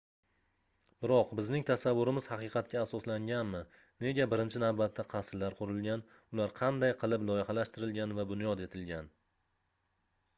biroq bizning tasavvurimiz haqiqatga asoslanganmi nega birinchi navbatda qasrlar qurilgan ular qanday qilib loyihalashtirilgan va bunyod etilgan